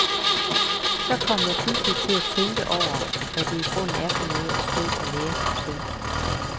Så kom jeg pludselig til at tænke over, hvad det i grunden er for noget at stå og lære sin søn?